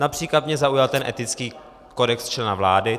Například mě zaujal ten etický kodex člena vlády.